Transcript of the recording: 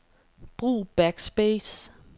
Brug backspace.